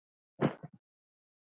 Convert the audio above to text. Elsku afi Kiddi.